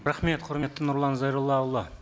рахмет құрметті нұрлан зайроллаұлы